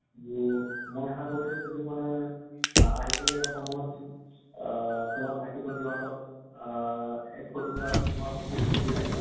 বু মই আশা কৰো যে তুমি মানে আ আহিব লগিয়া সময়ত আহ তোমাৰ ভাইটি ভণ্টি হঁতক আহ সিধিবা তোমাৰ হয় নে নহয়?